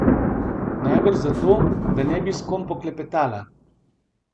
Najbrž zato, da ne bi s kom poklepetala.